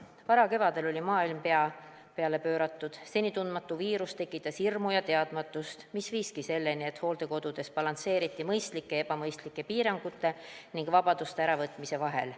Varakevadel oli maailm pea peale pööratud, seni tundmatu viirus tekitas hirmu ja teadmatust, mis viiski selleni, et hooldekodudes balansseeriti mõistlike ja ebamõistlike piirangute ning vabaduste äravõtmise vahel.